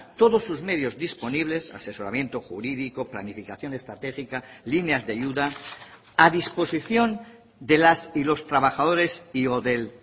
todos sus medios disponibles asesoramiento jurídico planificación estratégica líneas de ayuda a disposición de las y los trabajadores y o del